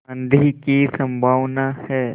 आँधी की संभावना है